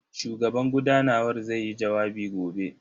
Shugaban gudanawar zai yi jawabi gobe.